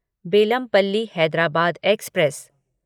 Bellampalli Hyderabad express